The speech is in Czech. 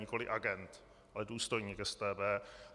Nikoli agent, ale důstojník StB.